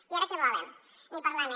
i ara què volen ni parlar ne